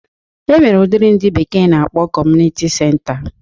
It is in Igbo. E nwere udiri ndị bekee na-akpọ kọmunịti senta